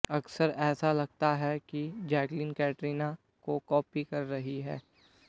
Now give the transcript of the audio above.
अक्सर ऐसा लगता है कि जैकलीन कैटरीना को कॉपी कर रही हैं